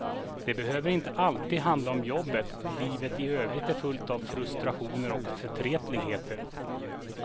De behöver inte alltid handla om jobbet, livet i övrigt är fullt av frustrationer och förtretligheter.